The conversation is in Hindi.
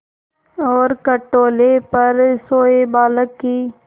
और खटोले पर सोए बालक की